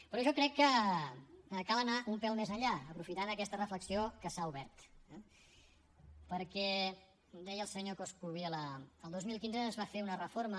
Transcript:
però jo crec que cal anar un pèl més enllà aprofitant aquesta reflexió que s’ha obert eh perquè deia el senyor coscubiela el dos mil quinze es va fer una reforma